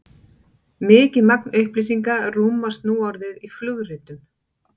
mikið magn upplýsinga rúmast nú orðið í flugritum